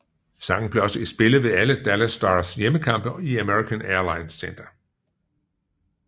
Sangen blev også spillet ved alle Dallas Stars hjemmekampe i American Airlines Center